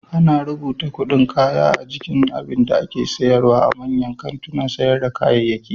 Ana rubuta kuɗin kaya a jikin abinda ake syarwa a manyan kantunan sayar da kayayyaki.